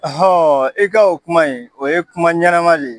i ka o kuma in, o ye kuma ɲanama de ye.